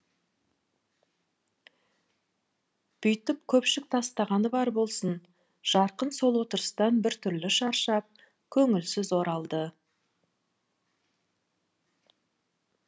бүйтіп көпшік тастағаны бар болсын жарқын сол отырыстан бір түрлі шаршап көңілсіз оралды